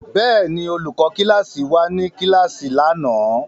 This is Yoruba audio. Bẹ́ẹ̀ ni, olùkọ́ kíláàsì wà ní kíláàsì lánàá.